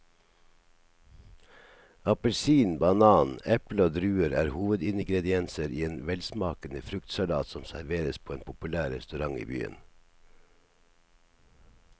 Appelsin, banan, eple og druer er hovedingredienser i en velsmakende fruktsalat som serveres på en populær restaurant i byen.